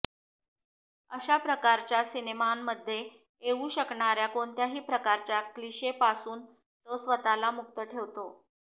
अशा प्रकारच्या सिनेमांमध्ये येऊ शकणाऱ्या कोणत्याही प्रकारच्या क्लिशेपासून तो स्वतःला मुक्त ठेवतो